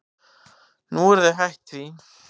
Nú eru þau hætt því.